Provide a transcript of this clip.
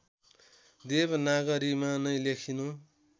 देवनागरीमा नै लेखिनु